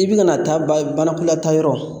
I bi ka na taa banakɔla taa yɔrɔ